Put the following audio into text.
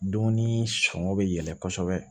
Dumuni sɔngɔ bɛ yɛlɛ kosɛbɛ